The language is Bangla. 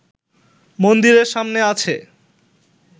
মন্দিরের সামনে আছে